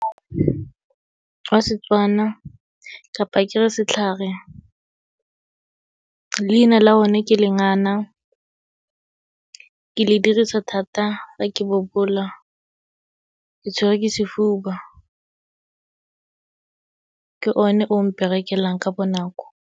Wa Setswana, kapa ke re setlhare, leina la one ke lengana. Ke le dirisa thata ha ke bobola ke tshwerwe ke sefuba. Ke o ne ong mperekelang ka bonako.